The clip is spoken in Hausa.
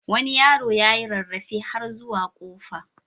Wani yaro ya yi rarrafe har zuwa kofa.